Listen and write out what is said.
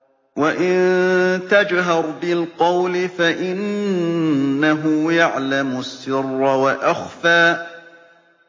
وَإِن تَجْهَرْ بِالْقَوْلِ فَإِنَّهُ يَعْلَمُ السِّرَّ وَأَخْفَى